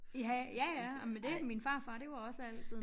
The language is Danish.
Ja ja ja ej men det min farfar det var også altid